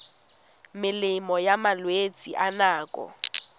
melemo ya malwetse a nako